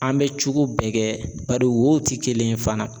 An bɛ cogo bɛɛ kɛ bari wo ti kelen ye fana